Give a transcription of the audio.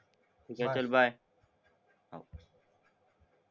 ठीक आहे चल बाय.